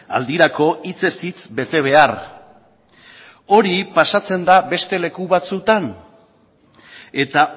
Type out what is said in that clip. aldirako hitzez hitz bete behar hori pasatzen da beste leku batzutan eta